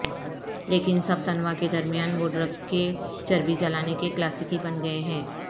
لیکن سب تنوع کے درمیان وہ ڈرگ کہ چربی جلانے کے کلاسیکی بن گئے ہیں